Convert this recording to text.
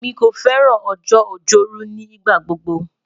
Emi ko fẹran ọjọ-ojoru nigbagbogbo